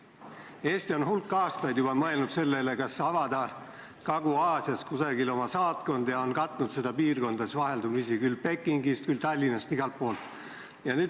Eesti on hulk aastaid mõelnud, kas avada Kagu-Aasias kusagil oma saatkondi, ja on seni katnud seda piirkonda vaheldumisi küll Pekingist, küll Tallinnast.